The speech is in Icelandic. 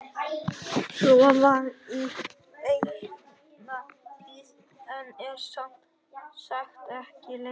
Svo var í eina tíð en er sem sagt ekki lengur.